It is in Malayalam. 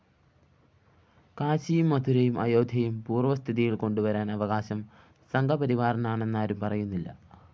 കാശിയും മഥുരയും അയോധ്യയും പൂര്‍വസ്ഥിതിയില്‍ കൊണ്ടുവരാന്‍ അവകാശം സംഘപരിവാറിനാണെന്നാരും പറയുന്നില്ല